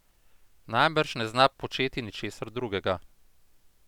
Najbrž ne zna početi ničesar drugega.